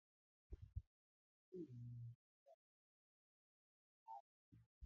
Àwọn ènìyàn yóò mu ọtí àmupara ní patí mi.